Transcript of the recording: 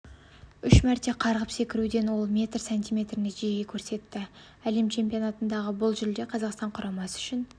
үш мәрте қарғып секіруден ол метр сантиметр нәтиже көрсетті әлем чемпионатындағы бұл жүлде қазақстан құрамасы үшін